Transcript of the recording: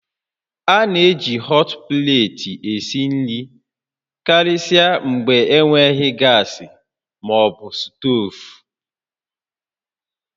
A na-eji họt pleeti esi nri karịsịa mgbe enweghị gas ma ọ bụ stovu